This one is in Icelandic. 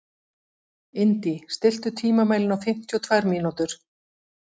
Indí, stilltu tímamælinn á fimmtíu og tvær mínútur.